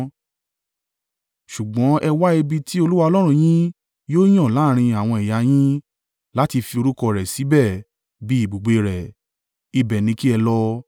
Ṣùgbọ́n ẹ wá ibi tí Olúwa Ọlọ́run yín yóò yàn láàrín àwọn ẹ̀yà yín, láti fi orúkọ rẹ̀ síbẹ̀ bí i ibùgbé rẹ̀. Ibẹ̀ ni kí ẹ lọ.